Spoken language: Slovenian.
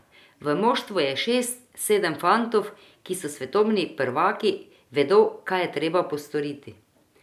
V moštvu je šest, sedem fantov, ki so svetovni prvaki, vedo, kaj je treba postoriti.